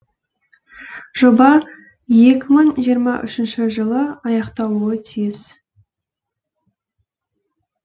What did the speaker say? жоба екі мың жиырма үшінші жылы аяқталуы тиіс